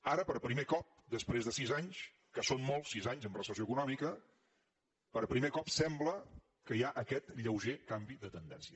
ara per primer cop després de sis anys que són molts sis anys amb recessió econòmica per primer cop sembla que hi ha aquest lleuger canvi de tendència